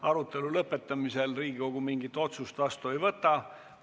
Arutelu lõpetamisel Riigikogu mingit otsust vastu ei võta.